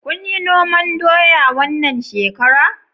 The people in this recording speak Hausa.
Kunyi noman doya wannan shekara?